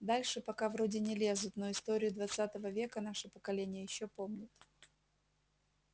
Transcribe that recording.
дальше пока вроде не лезут но историю двадцатого века наше поколение ещё помнит